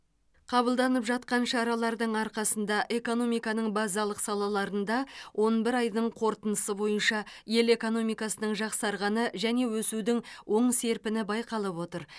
қабылданып жатқан шаралардың арқасында экономиканың базалық салаларында он бір айдың қорытындысы бойынша ел экономикасының жақсарғаны және өсудің оң серпіні байқалып отыр